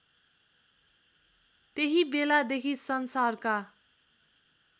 त्यही बेलादेखि संसारका